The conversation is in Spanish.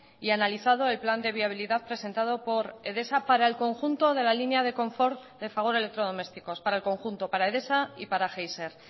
y analizado el plan de viabilidad presentado por edesa para el conjunto de la línea de confort de fagor electrodomésticos para el conjunto para edesa y para geiser